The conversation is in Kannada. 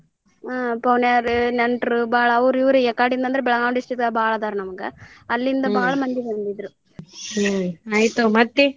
ಹ್ಮ್ ಪೌನ್ಯಾರ ನೆಂಟ್ರ್ ಬಾಳ್ ಅವ್ರ ಇವ್ರ ಎಕಡೆಯಿಂದ ಅಂದ್ರ ಬೆಳಗಾವ್ district ದಾಗ ಬಾಳ್ ಅದಾರ್ ನಮ್ಗ ಅಲ್ಲಿಂದ ಬಾಳ್ಮಂದಿ ಬಂದಿದ್ರ ನಮ್ಗ .